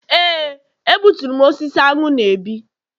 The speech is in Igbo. Éè, a gbuturu m osisi aṅụ na-ebi.